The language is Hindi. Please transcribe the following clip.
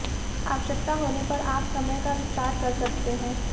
आवश्यकता होने पर आप समय का विस्तार कर सकते हैं